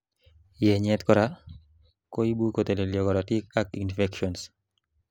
yenyet korak koibu kotelelyo korotik ak infections